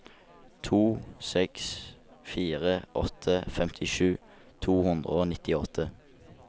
to seks fire åtte femtisju to hundre og nittiåtte